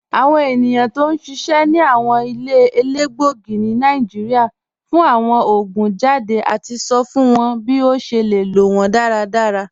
Awọn ènìyàn tó n ṣiṣẹ̀ ni awọn ilẹ̀ èlégbogì ni Nàìjíríà fún awọn oogun jàdé àti sọ̀ fún wọn bí o ṣè lè lọ wọn dàràdàrà.